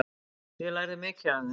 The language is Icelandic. Ég lærði mikið af þeim.